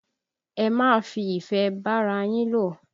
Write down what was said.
Ẹ máa fi ìfẹ́ bára yín lò!